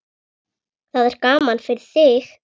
Það er gaman fyrir þig.